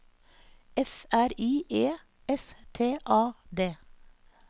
F R I E S T A D